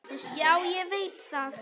Já, ég veit það!